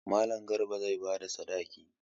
Mallam Garba zai ba da sadakin.